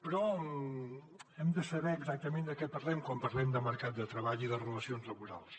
però hem de saber exactament de què parlem quan parlem de mercat de treball i de relacions laborals